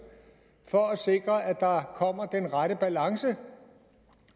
for at sikre at der kommer den rette balance